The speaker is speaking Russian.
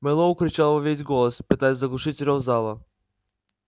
мэллоу кричал во весь голос пытаясь заглушить рёв зала